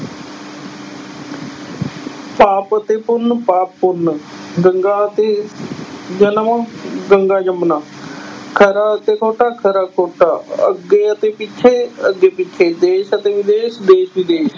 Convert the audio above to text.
ਪਾਪ ਅਤੇ ਪੁੰਨ ਪਾਪ ਪੁੰਨ, ਗੰਗਾ ਅਤੇ ਜਨਮ, ਗੰਗਾ ਜਮੁਨਾ, ਖਰਾ ਅਤੇ ਖੋਟਾ, ਖਰਾ ਖੋਟਾ, ਅੱਗੇ ਅਤੇ ਪਿੱਛੇ ਅੱਗੇ ਪਿੱਛੇ, ਦੇਸ ਅਤੇ ਵਿਦੇਸ਼ ਦੇਸ ਵਿਦੇਸ਼